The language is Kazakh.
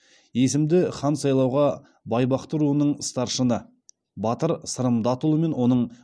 есімді хан сайлауға байбақты руының старшыны батыр сырым датұлы мен оның